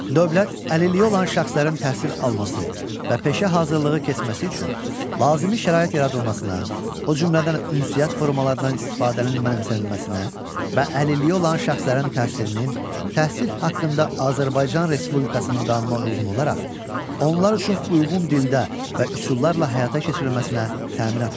Dövlət əlilliyi olan şəxslərin təhsil alması və peşə hazırlığı keçməsi üçün lazımi şərait yaradılmasına, o cümlədən ünsiyyət formalarının istifadənin mənimsənilməsinə və əlilliyi olan şəxslərin təhsilinin təhsil haqqında Azərbaycan Respublikasının qanununa uyğun olaraq onlar üçün uyğun dildə və üsullarla həyata keçirilməsinə təminat verir.